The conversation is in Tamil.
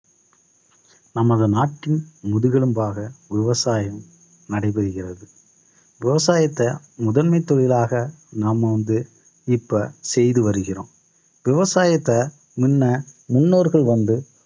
நமது நாட்டின் முதுகெலும்பாக விவசாயம் நடைபெறுகிறது. விவசாயத்தை முதன்மை தொழிலாக நாம வந்து இப்ப செய்து வருகிறோம். விவசாயத்தை முன்ன முன்னோர்கள் வந்து